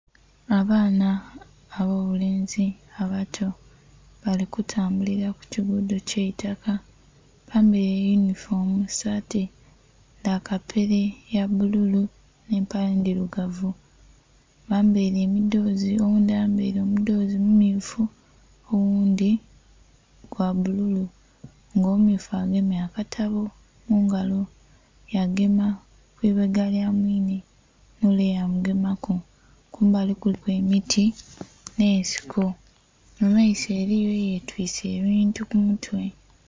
Abaana abobulenzi abato bali kutambulira kukigudo ekyaitaka bambaire eyinifoomu esaati dhakapere yabbululu n'empale endhirugavu, bambaire emidhozi oghundhi ayambaire omudhozi mummyufu, oghundhi gwabbululu nga omummyufu agemye akatabo mungalo yagema eibega lyamwine nole yamugemaku. Kumbali kuliku emiti n'esiko mumaiso eriyo eyetwise ebintu kumutwe.